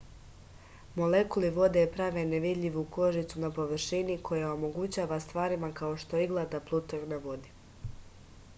molekuli vode prave nevidljivu kožicu na površini koja omogućava stvarima kao što je igla da plutaju na vodi